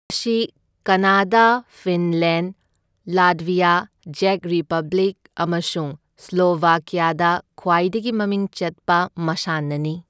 ꯃꯁꯤ Canada, Finland, Latvia, ꯖꯦꯛ Republic ꯑꯃꯁꯨꯡ ꯁ꯭ꯂꯣꯚꯥꯀ꯭ꯌꯥꯗ ꯈ꯭ꯋꯥꯏꯗꯒꯤ ꯃꯃꯤꯡ ꯆꯠꯄ ꯃꯁꯥꯟꯅꯅꯤ꯫